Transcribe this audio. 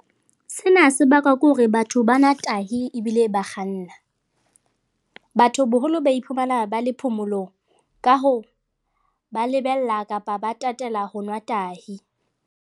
Sena se bakwa ke hore batho ba nwa tahi ebile ba kganna. Batho boholo ba iphumana ba le phomolong, ka hoo, ba lebella kapa ba tatela ho nwa tahi.